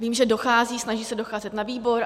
Vím, že dochází, snaží se docházet na výbor.